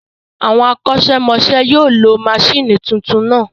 Àwọn akosemose yóò lo àwọn maṣíìnì tuntun náà